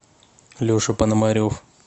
леша панамарев